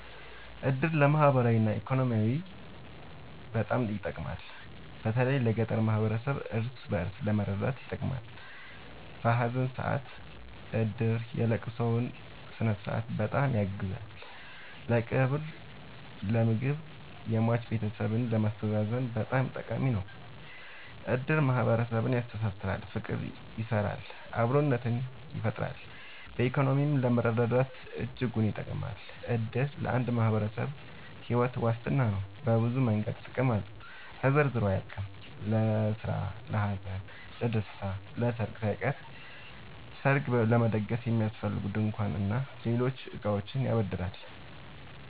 እድር ለማህበራዊ እና ኢኮኖሚያዊ በጣም ይጠቅማል። በተለይ ለገጠር ማህበረሰብ እርስ በእርስ ለመረዳዳት ይጠቅማል። በሀዘን ሰአት እድር የለቅሶውን ስነስርዓት በጣም ያግዛል ለቀብር ለምግብ የሟች ቤተሰብን ለማስተዛዘን በጣም ጠቃሚ ነው። እድር ማህረሰብን ያስተሳስራል። ፍቅር ይሰራል አብሮነትን ይፈጥራል። በኢኮኖሚም ለመረዳዳት እጅጉን ይጠብማል። እድር ለአንድ ማህበረሰብ ሒወት ዋስትና ነው። በብዙ መንገድ ጥቅም አለው ተዘርዝሮ አያልቅም። ለስራ ለሀዘን ለደሰታ። ለሰርግ ሳይቀር ሰርግ ለመደገስ የሚያስፈልጉ ድንኳን እና ሌሎች እቃዎችን ያበድራል